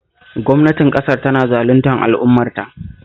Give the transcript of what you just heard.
Gwamnatin ƙasar tana zaluntar al'ummarta